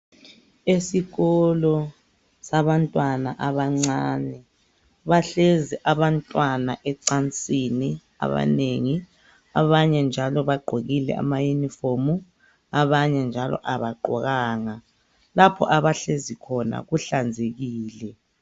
Esikolo sabantwana abancane. Bahlezi abantwana ecansini abanengi. Abanye njalo bagqokile amayunifomu abanye njalo abagqokanga. Lapho abahlezi khona kuhlanzekile.